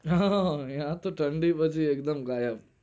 હા હઅન અયા તો ઠંડી પછી એક દમ ગાયબ